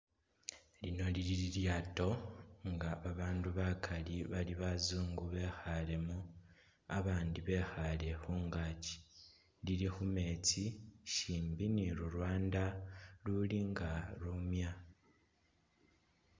Lino lili li lyato nga ba bandu bakali bali bazungu bekhalemo abandi bekhale khungakyi lili khumetsi shimbi ni lulwanda luli nga lumya.